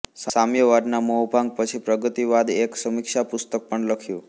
સામ્યવાદના મોહભંગ પછી પ્રગતિવાદએક સમીક્ષા પુસ્તક પણ લખ્યું